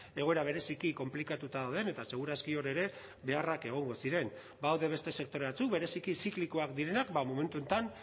egoera bereziki konplikatuta dauden eta seguraski hor ere beharrak egongo ziren badaude beste sektore batzuk bereziki ziklikoak direnak momentu honetan